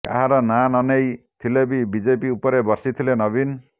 କାହାର ନା ନନେଇ ଥିଲେ ବି ବିଜେପି ଉପରେ ବର୍ଷିଥିଲେ ନବୀନ